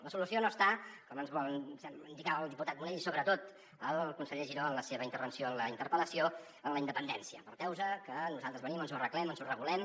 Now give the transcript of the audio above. la solució no està com ens volen indicar el diputat munell i sobretot el conseller giró en la seva intervenció en la in·terpel·lació en la independència aparteu·vos que nosaltres venim ens ho arre·glem ens ho regulem